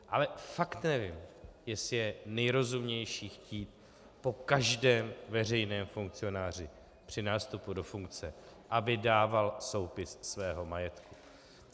Ale fakt nevím, jestli je nejrozumnější chtít po každém veřejném funkcionářů při nástupu do funkce, aby dával soupis svého majetku.